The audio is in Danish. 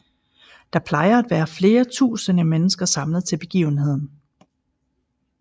Der plejer at være flere tusinde mennesker samlet til begivenheden